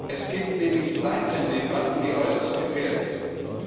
Es gibt nämlich Seitendebatten, die äußerst gefährlich sind.